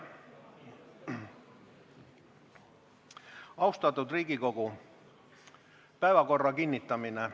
Austatud Riigikogu, päevakorra kinnitamine.